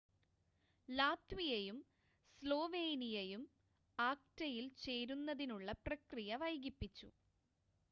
ലാത്വിയയും സ്ലോൾവേനിയയും ആക്റ്റയിൽ ചേരുന്നതിനുള്ള പ്രക്രിയ വൈകിപ്പിച്ചു